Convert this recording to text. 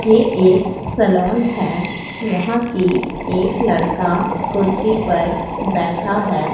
ये एक सैलून है यहां कि एक लड़का कुर्सी पर बैठा है।